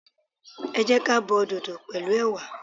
Ẹ jẹ́ ka bo dodo pẹ̀lú ẹwà.